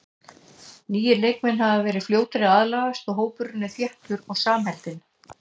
Nýir leikmenn hafa verið fljótir að aðlagast og hópurinn er þéttur og samheldinn.